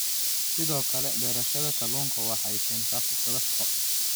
Sidoo kale, beerashada kalluunka waxay keentaa fursado shaqo.